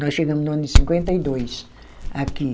Nós chegamos no ano de cinquenta e dois, aqui.